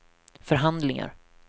förhandlingar